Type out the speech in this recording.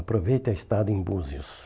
Aproveite a estada em Búzios.